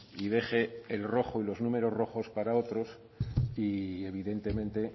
y deje el rojo y los números rojos para otros y evidentemente